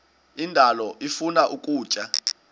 indalo ifuna ukutya